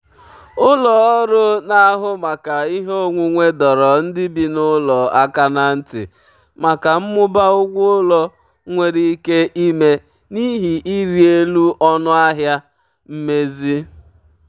ụlọ ọrụ na-ahụ maka ihe onwunwe dọrọ ndị bi n'ụlọ aka ná ntị maka mmụba ụgwọ ụlọ nwere ike ime n'ihi ịrị elu ọnụ ahịa mmezi.